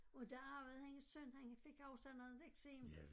Og der arvede hendes søn han fik også noget eksem